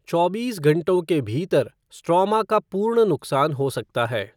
चौबीस घंटों के भीतर स्ट्रोमा का पूर्ण नुकसान हो सकता है।